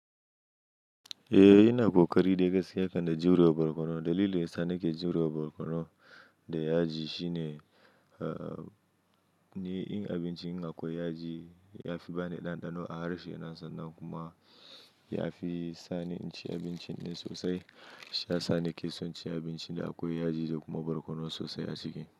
Eh, ina ƙoƙari dai gaskiya kan na jurewa borkono. Dalilin sa ni ke jurewa borkono da yaji shine, ah, ni in abincin in akwai yaji ya fi bani ɗanɗano a harshe na sannan kuma ya fi sani in ci abincin dai sosai. Shi yasa nakeson cin abincin in akwai yaji da kuma borkono sosai a ciki.